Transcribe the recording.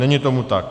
Není tomu tak.